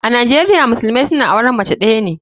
A nijeria musulumai suna auren mace days ne.